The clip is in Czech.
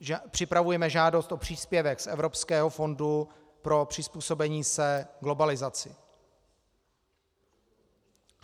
Připravujeme žádost o příspěvek z Evropského fondu pro přizpůsobení se globalizaci.